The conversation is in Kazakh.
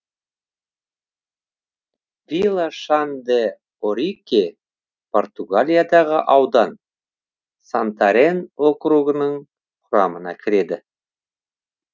вила шан де орике португалиядағы аудан сантарен округінің құрамына кіреді